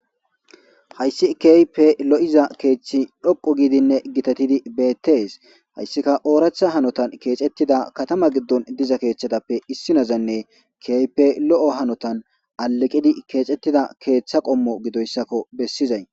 Hayssi keype lo;iza keeththi dhoqo giidinne gitatidi beettes hayssika ooratha hanotan keexettida katama giddon diza keeththadappe issinazanne keype lo'o hanotan aleqidi keexettida keeththa qommo gidoyssakko bessizay.